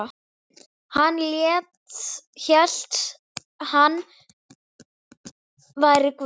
Hann hélt hann væri Guð.